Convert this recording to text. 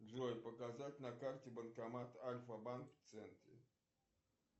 джой показать на карте банкомат альфабанк в центре